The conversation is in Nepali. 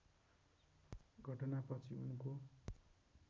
घटनापछि उनको